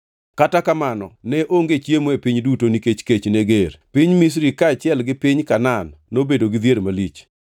Kata kamano, ne onge chiemo e piny duto nikech kech ne ger; piny Misri kaachiel gi piny Kanaan nobedo gi dhier malich.